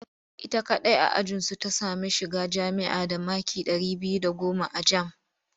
Ita kaɗai a ajinsu ta sami shiga jami'a da maki ɗari biyu da goma a jam